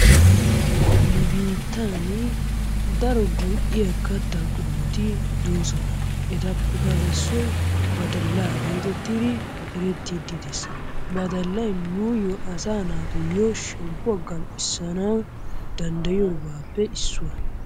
Nu biittaan daro go'iyaa kaattaa qomotti doosona ettapekka issoy baadalla geettetidi erettidi dees. Badallay nuyoo asaa naatuyo shemppuwaa gam'issanawu dandayiyoogappe issuwaa.